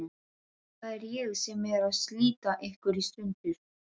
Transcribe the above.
Það er ég sem er að slíta ykkur í sundur.